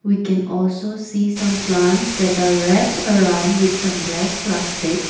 we can also see some plants that are red around with some black plastic.